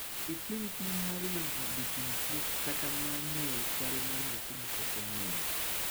Itim pim mar yango joting` tuo kata mar ng`eyo chal mar nyathi mapok onyuol.